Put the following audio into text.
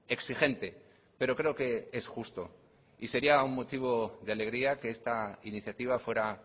exigente pero creo que es justo y sería un motivo de alegría que esta iniciativa fuera